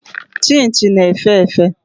Chịnchị na-efe efe.